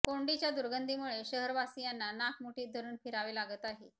कोंडीच्या दुर्गंधीमुळे शहरवासियांना नाक मुठीत धरून फिरावे लागत आहे